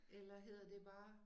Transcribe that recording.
Eller hedder det bare?